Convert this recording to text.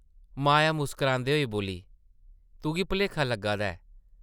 माया मुस्करांदे होई बोल्ली, तुगी भलेखा लग्गा दा ऐ ।